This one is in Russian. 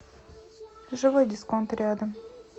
живой дисконт рядом